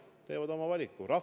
Nad teevad oma valiku!